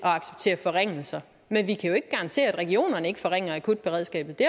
at acceptere forringelser men vi kan jo ikke garantere at regionerne ikke forringer akutberedskabet det